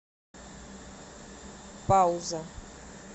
пауза